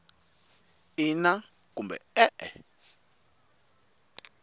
ina kumbe e e